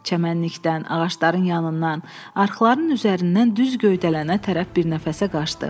Çəmənlikdən, ağacların yanından, arxların üzərindən düz göydələnə tərəf bir nəfəsə qaçdı.